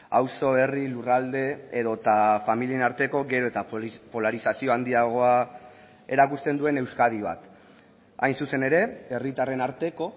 auzo herri lurralde edota familien arteko gero eta polarizazio handiagoa erakusten duen euskadi bat hain zuzen ere herritarren arteko